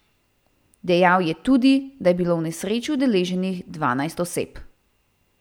Dejal je tudi, da je bilo v nesreči udeleženih dvanajst oseb.